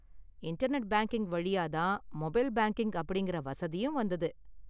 Internet banking வழியா தான் mobile banking அப்படிங்கிற வசதியும் வந்தது.